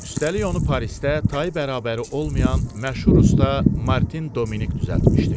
Üstəlik onu Parisdə tayı bərabəri olmayan məşhur usta Martin Dominik düzəltmişdi.